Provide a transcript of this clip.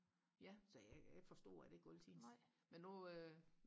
ja så jeg forstår det ikke altid men nu